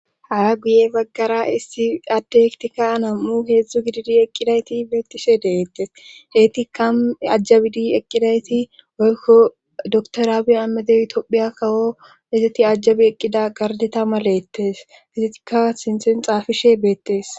Haya guye baggara issi adde ektika anam7u heedzdzu gididi eqqidayti beettishe deeettes deyti kam ajjabidi eqqidayti oykko doktorabi ammede itoophiya kawo ezeti ajjabi eqqida gardita maleettes kizetika sinthen xaafishe beettes